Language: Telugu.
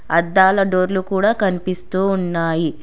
అద్దాల డోర్లు కూడా కనిపిస్తూ ఉన్నాయి.